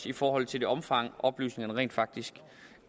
i forhold til det omfang som oplysningerne rent faktisk